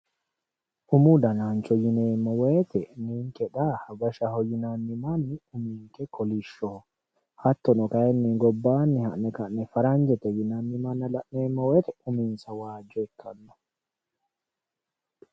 Umu danancho yineemmo woyte ninke xa hawashaho yinnanni manni uminke kolishoho hattonno kayinni gobbanni ha'ne faraje yinnanni manna la'neemmo woyte uminsa waajo ikkano